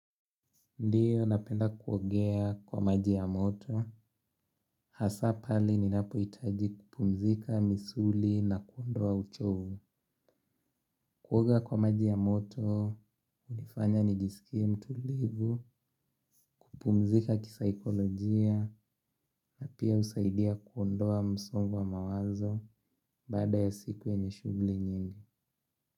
Ndiyo napenda kuogea kwa maji ya moto. Hasaa pale ninapohitaji kupumzika misuli na kuondoa uchovu. Kuoga kwa maji ya moto, hunifanya nijisikie mtulivu. Kupumzika kisaikolojia na pia husaidia kuondoa msongo wa mawazo. Baada ya siku yenye shughuli nyingi.